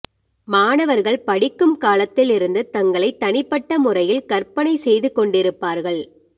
மாணவர்கள் படிக்கும் காலத்தில் இருந்து தங்களை தனிப்பட்ட முறையில் கற்பனை செய்து கொண்டிருப்பார்கள்